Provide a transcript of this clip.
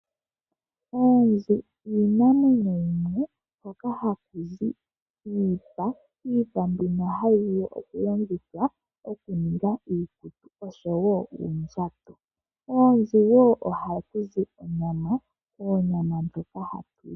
Oonzi odho iinamwenyo yimwe mbyoka kudho haku zi iipa mbyoka hayi vulu okulongithwa mokuninga iikutu nuundjato. Koonzi ohaku zi wo onyama ndjoka hatu li.